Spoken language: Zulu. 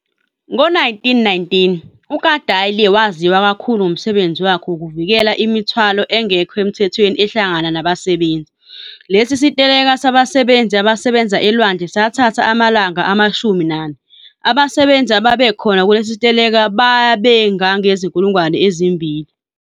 Ngo1919 uKadalie waziwa kakhulu ngomsebenzi wakhe wokuvikela imithwalo engekho emthethweni ehlangana nabasebenzi. Lesisiteleka sabasebenzi abasebenza elwandle sathatha amalanga amashumi nane, abasebenzi ababekhona kulesisiteleka bebangange zinkulungwane ezimbili.